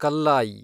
Kallayi